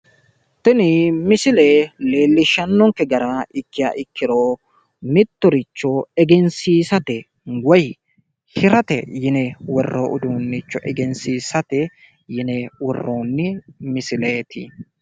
Tini misile leellishshannokke gara ikkiha ikkiro mittoricho egensiisate woy hirate yine worroonni uduunnicho egensiisate yine worroonni misileeti.